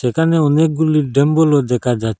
এখানে অনেকগুলি ডাম্বেলও দেখা যা--